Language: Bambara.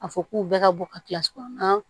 A fɔ k'u bɛɛ ka bɔ ka kilasi kɔnɔ